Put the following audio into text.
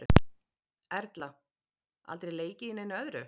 Erla: Aldrei leikið í neinu öðru?